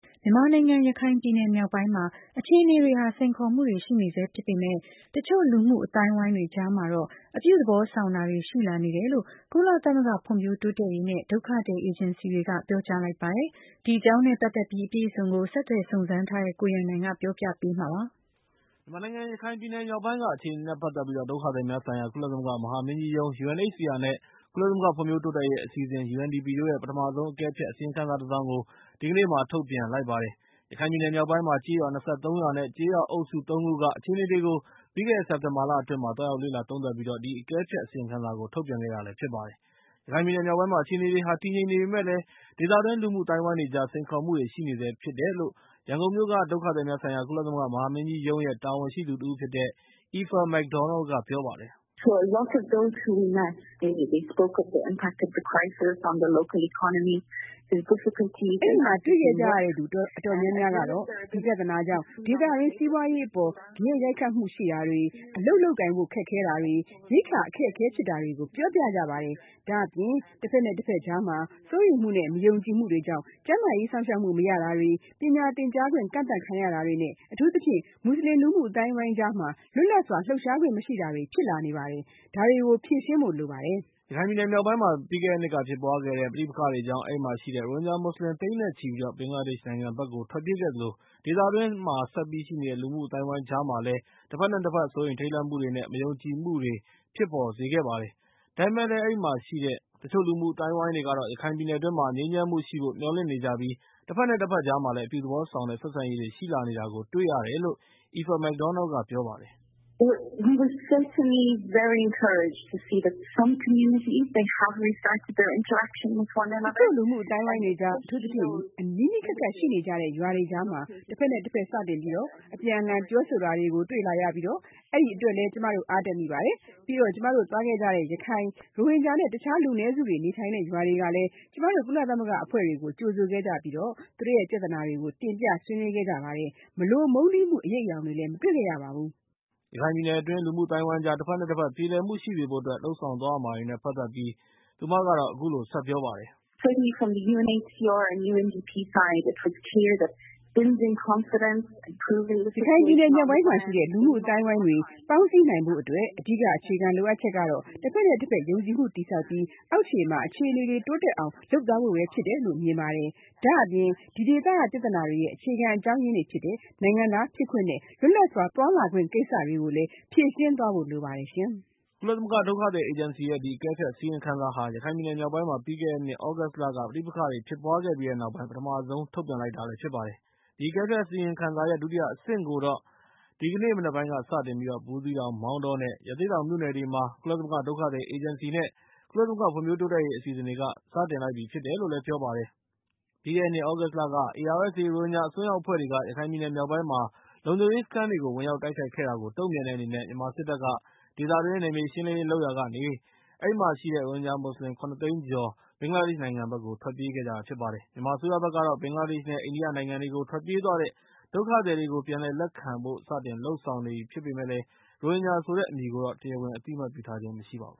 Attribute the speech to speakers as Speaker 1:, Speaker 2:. Speaker 1: မြန်မာနိုင်ငံ ရခိုင်ပြည်နယ်မြောက်ပိုင်းမှာ အခြေအနေတွေဟာ စိန်ခေါ်မှုတွေရှိနေဆဲဖြစ် ပေမယ့် လည်း တချို့ လူမှုအသိုင်းအဝိုင်းတွေ ကြားမှာတော့ အပြုသဘောဆောင်တာတွေ ရှိလာနေတယ်လို့ ကုလသမဂ္ဂ ဖွံ့ဖြိုး တိုးတက်ရေး နဲ့ ဒုက္ခသည် အေဂျင်စီတွေက ပြောကြားလိုက်ပါတယ်။ ဒီအကြောင်းနဲ့ ပတ်သက်ပြီး အပြည့် အစုံကို ဆက်သွယ်စုံစမ်းထားတဲ့ ကိုရန်နိုင်က တင်ပြပေးထား ပါတယ်
Speaker 2: ။ မြန်မာနိုင်ငံရခိုင်ပြည်နယ်မြောက်ပိုင်းက အခြေအနေတွေနဲ့ ပတ်သက်ပြီး ဒုက္ခသည်များဆိုင်ရာ ကုလသမဂ္ဂ မဟာမင်းကြီးရုံး နဲ့ ကုလသမဂ္ဂဖွံ့ဖြိုးတိုးတက်ရေးအစီအစဉ် တို့ရဲ့ ပထမဆုံးအကဲဖြတ် အစီရင်ခံစာတစ်စောင်ကို ဒီကနေ့မှာ ထုတ်ပြန်လိုက်ပါတယ်။ ရခိုင်ပြည်နယ် မြောက်ပိုင်းမှာ ကျေးရွာ ၂၃ ရွာနဲ့ ကျေးရွာအုပ်စု ၃ ခုက အခြေအနေတွေကို ပြီးခဲ့တဲ့ စက်တင်ဘာလ အတွင်း မှာ သွားရောက်လေ့လာသုံးသပ်ပြီး ဒီအကဲဖြတ်အစီရင်ခံစာကို ထုတ်ပြန်ခဲ့တာဖြစ်ပါတယ်။ ရခိုင်ပြည်နယ်မြောက်ပိုင်းမှာ အခြေအနေတွေက တည်ငြိမ် နေပေမယ့်လည်း ဒေသတွင်း လူမှုအသိုင်းအဝိုင်းတွေကြား စိန်ခေါ်မှုတွေ ရှိနေဆဲဖြစ်တယ်လို့ ရန်ကုန်မြို့က ဒုက္ခသည်များဆိုင်ရာ ကုလသမဂ္ဂမဟာမင်းကြီးရုံးရဲ့တာဝန်ရှိသူတဦးဖြစ်တဲ့ Aoife McDonnell က ပြောပါတယ်။
Speaker 1: “အဲဒီမှာတွေ့ခဲ့ကြတဲ့သူအ
Speaker 3: တော်များများကတော့ ဒီပြဿနာကြောင့် ဒေသတွင်း စီးပွားရေးအပေါ် ဂယက်ရိုက်ခတ် မှု ရှိတာတွေ၊ အလုပ်လုပ်ကိုင်ဖို့ ခက်ခဲတာတွေ၊ ရိက္ခာအခက်အခဲဖြစ်တာတွေကို ပြောကြပါတယ်။ ဒါ့အပြင် တဘက်နဲ့ တဘက် ကြားမှာ စိုးရိမ်မှု နဲ့ မယုံကြည်မှုတွေကြောင့် ကျန်းမာရေး စောင့်ရှောက်မှုမရတာတွေ၊ ပညာ သင်ကြားခွင့်ကန့်သတ်ခံရတာတွေ နဲ့ အထူးသဖြင့် မွတ်စလင်လူမှုအသိုင်းအဝိုင်းကြားမှာ လွတ်လပ်စွာ လှုပ်ရှားခွင့် မရှိတာတွေဖြစ်လာနေပါတယ်။ ဒါတွေကို ဖြေရှင်းဖို့လိုပါတယ်။”
Speaker 2: ရခိုင်ပြည်နယ်မြောက်ပိုင်းမှာ ပြီးခဲ့တဲ့နှစ်က ဖြစ်ပွားခဲ့တဲ့ ပဋိပက္ခတွေကြောင့် အဲဒီမှာရှိတဲ့ ရိုဟင်ဂျာ မွတ်စလင် တွေ သိန်းနဲ့ချီပြီး ဘင်္ဂလားဒေ့ရှ်နိုင်ငံဘက်ကို ထွက်ပြေးခဲ့ကြသလို ၊ ဒေသတွင်းမှာ ဆက်ပြီး ရှိနေတဲ့ ၂ ဘက် လူမှုအသိုင်းအဝိုင်းကြားမှာလည်း တဘက်နဲတဘက် စိုးရိမ်ထိတ် လန့်မှုတွေနဲ့ မယုံကြည်မှုတွေ ဖြစ်ပေါ်စေခဲ့ တာပါ။ ဒါပေမဲ့လည်း အဲဒီမှာရှိတဲ့ တချိုလူမှု အသိုင်း အဝိုင်းတွေကတော့ ရခိုင် ပြည်နယ်တွင်းမှာ ငြိမ်းချမ်းမှုရှိဖို့ မျှော်လင့်နေကြပြီးတော့ တဘက်နဲ့ တဘက်ကြားမှာ အပြုသဘောဆောင်တဲ့ ဆက်ဆံရေးတွေ ရှိလာနေတာကို တွေ့ရတယ်လို့ Aoife McDonnell က ပြောပါတယ်။ “တချို့လူမှုအသိုင်း
Speaker 1: အဝိုင်းတွေကြား အထူးသဖြင့် နီးနီးကပ်ကပ်ရှိနေကြ
Speaker 3: တဲ့ ရွာတွေကြားမှာ တဘက် နဲ့ တဘက် စတင်ပြီးတော့ အပြန်အလှန်ပြောဆိုတာတွေကို တွေ့လာနေရပြီး အဲဒီအတွက်လည်း ကျမတို့ အားတက်မိ ပါတယ်။ ပြီးတော့ ကျမတို့ သွားခဲ့ကြတဲ့ ရခိုင်၊ ရိုဟင်ဂျာ နဲ့ တခြားလူနည်းစုတွေ နေထိုင်တဲ့ ရွာတွေကလည်း ကျမတို့ ကုလသမဂ္ဂအဖွဲ့တွေကို ကြိုဆိုခဲ့ကြပြီး၊ သူတို့ရဲ့ ပြဿနာတွေကို တင်ပြ ဆွေးနွေးခဲ့ကြပြီး မလို မုန်းတီးမှုတွေ အရိပ်အယောင်တွေကိုလည်း မတွေ့ခဲ့ရပါဘူး။” ရခိုင်ပ
Speaker 2: ြည်နယ်အတွင်းမှာ လူမှုအသိုင်းအဝိုင်းကြား တဘက်နဲ့တဘက် ပြေလည်မှုရှိစေဖို့အတွက် လုပ်ဆောင်ရမှာ တွေနဲ့ ပတ်သက်ပြီး သူက အခုလိုဆက် ပြောပါတယ်
Speaker 1: ။ “ရခိုင်ပြည်နယ်မြောက်ပိုင်းမှာရှိတဲ့ လူမှုအသိုင်းအဝိုင်းတွေ
Speaker 3: ပေါင်းစည်းနိုင်ဖို့အတွက် အဓိကအခြေခံ လိုအပ်ချက် ကတော့ တဘက်နဲ့တဘက်ယုံကြည်မှုတည်ဆောက်ပြီး အောက်ခြေမှာ အခြေအနေ တွေ တိုးတက်အောင် လုပ်သွားဖို့ ဖြစ်တယ်လို့ မြင်ပါတယ်။ ဒါ့အပြင် ဒီဒေသက ပြဿနာတွေရဲ့ အခြေခံအကြောင်းအရင်းတွေဖြစ်တဲ့ နိုင်ငံသားဖြစ်ခွင့် နဲ့ လွတ်လပ်စွာသွားလာခွင့်ကိစ္စတွေကိုလည်း ဖြေရှင်းသွားဖို့လိုပါတယ်။” က
Speaker 2: ုလသမဂ္ဂဒုက္ခသည်အေဂျင်စီရဲ့ ဒီအကဲဖြတ်အစီရင်ခံစာဟာ ရခိုင်ပြည်နယ် မြောက်ပိုင်းမှာ ပြီးခဲ့တဲ့ နှစ်သြဂုတ် လက ပဋိပက္ခတွေဖြစ်ပွားခဲ့ပြီးတဲ့နောက် ပထမဆုံးထုတ်ပြန်လိုက်တာဖြစ်ပါတယ်။ အကဲဖြတ်အစီရင်ခံစာရဲ့ ဒုတိယ အဆင့်ကိုတော့ ဒီကနေ့ မနက်ပိုင်းကစတင်ပြီး ဘူးသီးတောင်၊ မောင်တောနဲ့ ရသေ့တောင် မြို့နယ် တွေမှာ ကုလသမဂ္ဂ ဒုက္ခသည်များအေဂျင်စီ နဲ့ ကုလသမဂ္ဂဖွံ့ဖြိုး တိုးတက်ရေးအစီအစဉ်တွေက စတင် လိုက်ပြီဖြစ်တယ်လို့ လည်းပြောပါတယ်။ ပြီးခဲ့တဲ့နှစ် သြဂုတ်လက ARSA ရိုဟင်ဂျာအစွန်းရောက်အဖွဲ့တွေက ရခိုင်ပြည်နယ်မြောက်ပိုင်းက လုံခြုံရေး စခန်းတွေကို ဝင်ရောက်တိုက်ခိုက်ခဲ့တာကို တုံ့ပြန်တဲ့အနေနဲ့ မြန်မာစစ်တပ်က ဒေသတွင်း မှာ နယ်မြေ ရှင်းလင်းရေးတွေ လုပ်ရာကနေ ဒေသတွင်းက ရိုဟင်ဂျာမွတ်စလင် ၇ သိန်းကျော် ဘင်္ဂလားဒေ့ရှ်နိုင်ငံဘက်ကို ထွက်ပြေးခဲ့ကြတာဖြစ်ပါတယ်။ မြန်မာအစိုးရဘက်ကတော့ ဘင်္ဂလားဒေ့ရှၤ နဲ့ အိန္ဒိယနိုင်ငံတွေကို ထွက်ပြေးသွားတဲ့ ဒုက္ခသည်တွေကို ပြန်လည်လက်ခံဖို့ စတင် လုပ်ဆောင်နေပေမယ့်လည်း ရိုဟင်ဂျာဆိုတဲ့ အမည်ကိုတော့ တရားဝင်အသိအမှတ်ပြုထားခြင်း မရှိပါဘူး